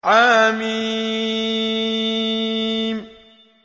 حم